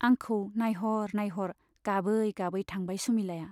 आंखौ नाइहर नाइहर गाबै गाबै थांबाय सुमिलाया।